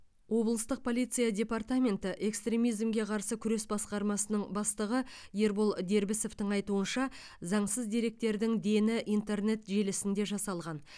облыстық полиция департаменті экстремизмге қарсы күрес басқармасының бастығы ербол дербісовтың айтуынша заңсыз деректердің дені интернет желісінде жасалған